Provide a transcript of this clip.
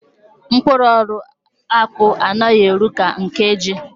Mkpụrụ ọrụ akpụ anaghi eru ka nke ji.